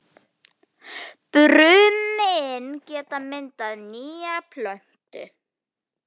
Brumin geta myndað nýja plöntu.